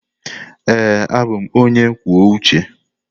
Ee, abụ m onye kwuo uche.